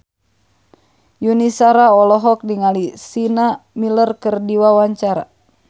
Yuni Shara olohok ningali Sienna Miller keur diwawancara